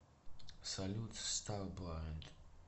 салют старблайнд